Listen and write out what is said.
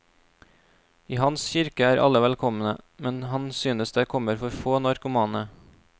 I hans kirke er alle velkomne, men han synes det kommer for få narkomane.